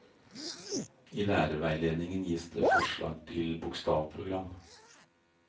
I lærerveiledningen gis det forslag til bokstavprogram.